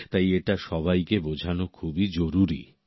তাই এটা সবাইকে বোঝানো খুবই জরুরী